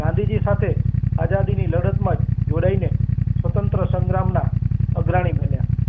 ગાંધીજી ની સાથે આઝાદી ની લડત માં જ જોડાય ને સ્વતંત્ર સંગ્રામ માં અગ્રણી બન્યા.